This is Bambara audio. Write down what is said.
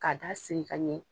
Ka dasiri ka ɲɛ.